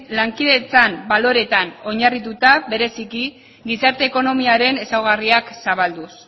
lankidetzan baloreetan oinarrituta bereziki gizarte ekonomiaren ezaugarriak zabalduz